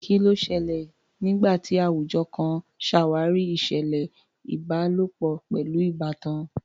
Kí ló ṣẹlẹ̀ nígbà tí àwùjọ kan ṣàwárí ìṣẹ̀lẹ̀ ìbálòpọ̀ pẹ̀lú ìbátan?